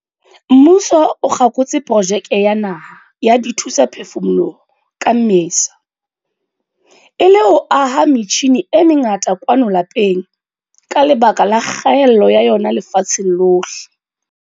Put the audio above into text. Mmuso o kgakotse Projeke ya Naha ya Dithusaphefumoloho ka Mmesa, e le ho aha metjhine e mengata kwano lapeng ka lebaka la kgaello ya yona lefatsheng lohle.